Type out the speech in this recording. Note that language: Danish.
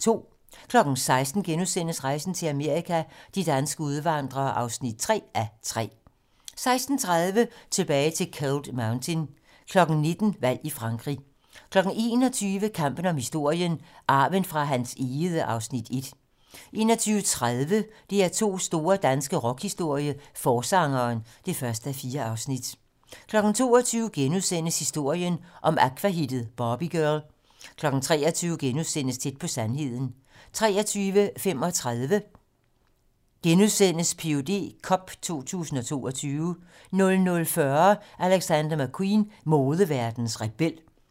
16:00: Rejsen til Amerika - de danske udvandrere (3:3)* 16:30: Tilbage til Cold Mountain 19:00: Valg i Frankrig 21:00: Kampen om historien - Arven fra Hans Egede (Afs. 1) 21:30: DR2's store danske rockhistorie - Forsangeren (1:4) 22:00: Historien om Aqua-hittet "Barbie Girl" 23:00: Tæt på sandheden * 23:35: Ph.d. cup 2022 * 00:40: Alexander McQueen - modeverdenens rebel 02:30: Deadline nat